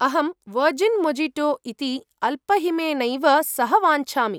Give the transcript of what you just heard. अहं virgin mojito इति अल्पहिमेनैव सह वाञ्छामि।